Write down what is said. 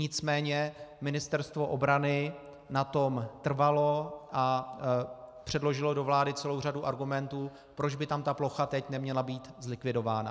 Nicméně Ministerstvo obrany na tom trvalo a předložilo do vlády celou řady argumentů, proč by tam ta plocha teď neměla být zlikvidována.